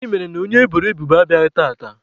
Gịnị mere na onye eboro ebubo abịaghị tata?